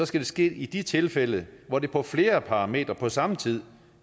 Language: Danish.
skal det ske i de tilfælde hvor det på flere parametre på samme tid